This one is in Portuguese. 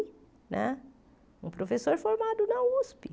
Né um professor formado na Usp.